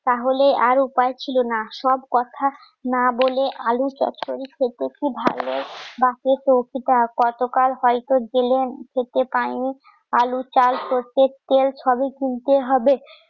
তাহলে আর উপায় ছিল না সব কথা না বলে আলুর চচ্চরি গতকাল হয়তো জেলে খেতে পাইনি আলু, চাল, সরষের তেল সবই কিনতে হবে।